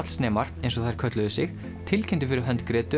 verkfallsnemar eins og þær kölluðu sig tilkynntu fyrir hönd